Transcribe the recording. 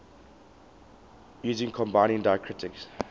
using combining diacritics